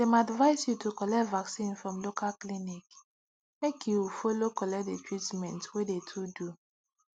dem advice you to colllect vacinn from local clinic make you follow collect de treatment wey de to do